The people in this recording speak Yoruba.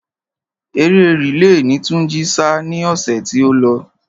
Eré rìle ni Túnjí sá ni ọ̀sẹ̀ tí ó lọ.